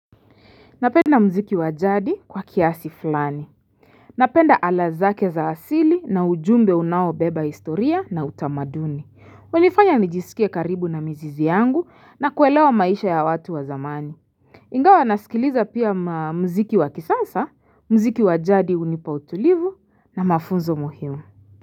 Napenda muziki wa jadi kwa kiasi fulani. Napenda ala zake za asili na ujumbe unaobeba historia na utamaduni. Hunifanya nijisikia karibu na mzizi yangu na kuelewa maisha ya watu wa zamani. Ingawa nasikiliza pia muziki wakisasa, muziki wa jadi hunipa utulivu na mafunzo muhimu.